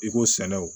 I ko sɛnɛ o